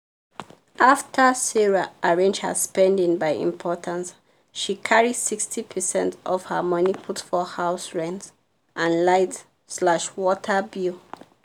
after sarah arrange her spending by importance she carry 60%of her money put for house rent and light/water bill.